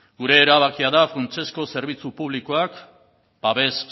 gure erabakia da funtsezko zerbitzu publikoak babes